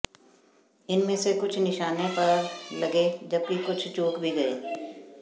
इनमें से कुछ निशाने पर लगे जबकि कुछ चूक भी गए